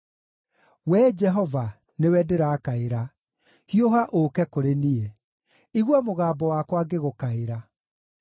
Wee Jehova, nĩwe ndĩrakaĩra; hiũha ũũke kũrĩ niĩ. Igua mũgambo wakwa ngĩgũkaĩra.